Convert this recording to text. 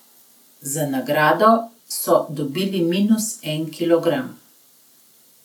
Za nagrado so dobili minus en kilogram.